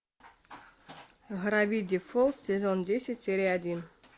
гравити фолз сезон десять серия один